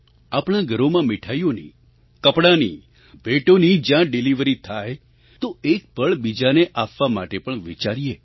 આપણાં ઘરોમાં મીઠાઈઓની કપડાંની ભેટોની જ્યાં ડિલિવરી થાય તો એક પળ બીજાને આપવા માટે પણ વિચારીએ